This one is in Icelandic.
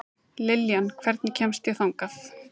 Liljan, hvernig kemst ég þangað?